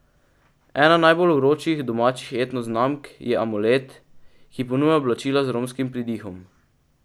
Ena najbolj vročih domačih etno znamk je Amulet, ki ponuja oblačila z romskim pridihom.